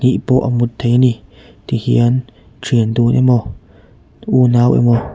pawh a mut theih ani tihian thian dun emaw unau emaw--